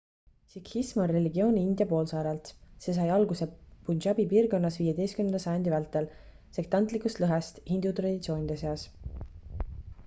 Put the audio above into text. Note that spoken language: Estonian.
sikhism on religioon india poolsaarelt see sai alguse punjabi piirkonnas 15 sajandi vältel sektantlikust lõhest hindu traditsioonide seas